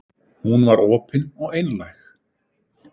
Hún var opin og einlæg.